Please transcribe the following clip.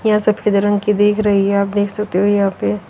यहां सफेद रंग की दिख रही है आप देख सकते हो यहां पे।